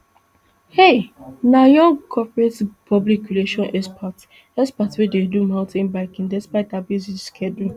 heich na young corporate public relations expert expert wey dey do mountain biking despite her busy schedule